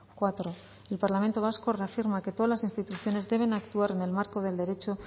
cuatro el parlamento vasco reafirma que todas las instituciones deben actuar en el marco del derecho